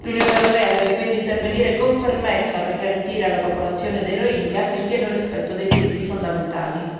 L'Unione europea deve quindi intervenire con fermezza per garantire alla popolazione dei rohingya il pieno rispetto dei diritti fondamentali.